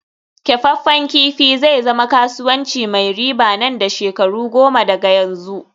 kyafaffen kifi zai zama kasuwanci mai riba nan da shekaru goma daga yanzu